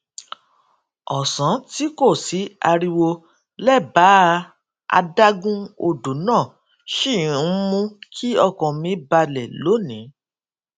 òsán tí kò sí ariwo lébàá adágún odo náà ṣì ń mú kí ọkàn mi balè lónìí